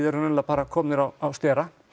raunverulega bara komnir á stera